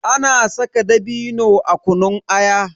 Ana saka dabino a kunun aya.